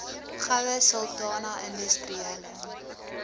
goue sultana industriele